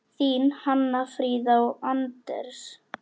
Þín Hanna Fríða og Anders.